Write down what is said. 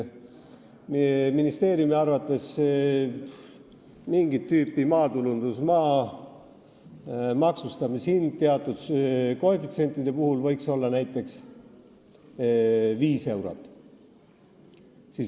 Ministeeriumi arvates võiks mingit tüüpi maatulundusmaa maksustamishind teatud koefitsientide puhul olla näiteks 5 eurot.